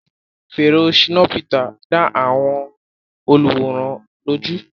Fèrè Shina Peter dá àwọn olùwòran lójú.